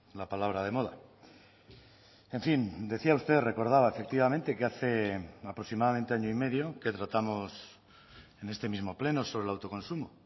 la palabra de moda en fin decía usted recordaba efectivamente que hace aproximadamente año y medio que tratamos en este mismo pleno sobre el autoconsumo